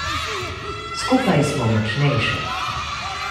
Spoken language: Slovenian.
Skupaj smo močnejše.